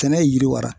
Kɛnɛ ye yiriwa